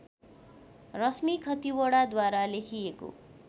रश्मि खतिवडाद्वारा लेखिएको